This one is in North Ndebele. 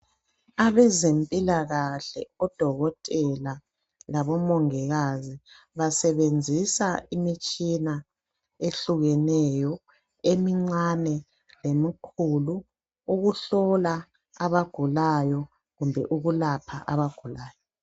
Abezempilakahle odokotela labomongikazi basebenzisa imitshina ehlukeneyo emincane lemikhulu ukuhlola abagulayo kumbe ukulapha abagulayo